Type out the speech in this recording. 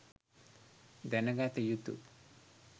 දැනගත යුතු